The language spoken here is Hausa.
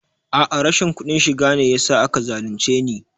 A'a rashin kuɗin shiga ne yasa aka zalunce ni